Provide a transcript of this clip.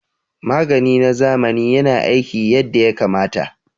Magani na zamani yana aiki yadda ya kamata